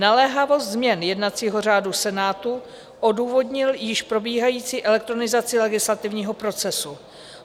Naléhavost změn jednacího řádu Senátu odůvodnil již probíhající elektronizaci legislativního procesu.